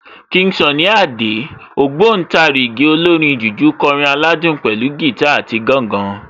King Sunny Adé, ògbóǹtarìgì olórin jùjú kọrin aládùn pẹ̀lú gìtá àti gángan